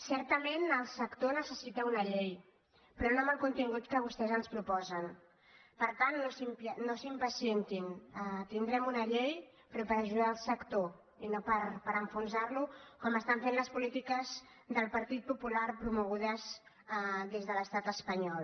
certament el sector necessita una llei però no amb el contingut que vostès ens proposen per tant no s’impacientin tindrem una llei però per ajudar el sector i no per enfonsar·lo com estan fent les polítiques del partit popular promogudes des de l’estat espanyol